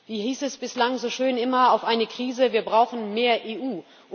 Wie hieß es bislang so schön immer auf eine Krise Wir brauchen mehr EU!